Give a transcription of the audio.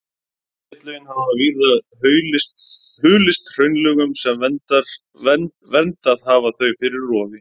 Setlögin hafa víða hulist hraunlögum sem verndað hafa þau fyrir rofi.